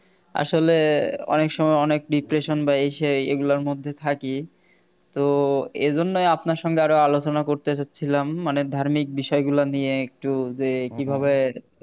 আসলে অনেক সময় অনেক Depression বা এই সেই এই গুলার মধ্যে থাকি তো এজন্যই আপনার সাথে আরও আলোচনা করতে এসেছিলাম মানে ধার্মিক বিষয় গুলা নিয়ে একটু যে কিভাবে